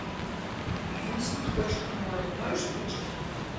винсент хочет к морю можешь включить